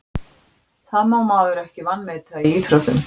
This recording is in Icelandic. Það má maður ekki vanmeta í íþróttum.